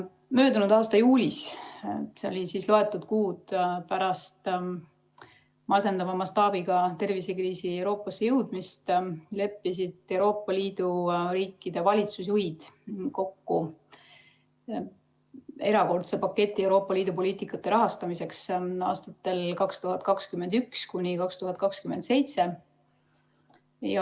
Möödunud aasta juulis, loetud kuud pärast masendava mastaabiga tervisekriisi Euroopasse jõudmist, leppisid Euroopa Liidu riikide valitsusjuhid kokku erakordse paketi Euroopa Liidu poliitikate rahastamiseks aastatel 2021–2027.